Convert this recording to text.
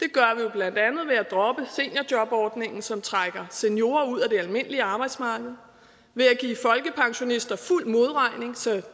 blandt andet ved at droppe seniorjobordningen som trækker seniorer ud af det almindelige arbejdsmarked ved at give folkepensionister fuld modregning så